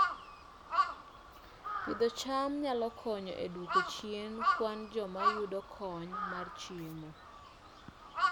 Pidho cham nyalo konyo e duoko chien kwan joma yudo kony mar chiemo